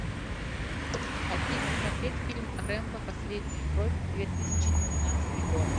афина смотреть фильм рэмбо последняя кровь две тысячи девятнадцатый год